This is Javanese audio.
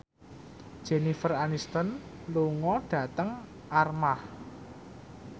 Jennifer Aniston lunga dhateng Armargh